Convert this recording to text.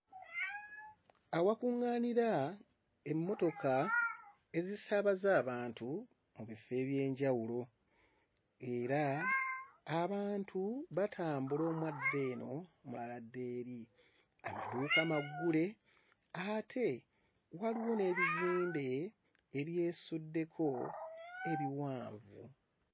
Awakuŋŋaanira emmotoka ezisaabaza abantu mu bifo eby'enjawulo era abantu batambula omu adda eno, omulala adda eri. Amaduuka maggule ate waliwo n'ebizimbe ebyesuddeko ebiwanvu.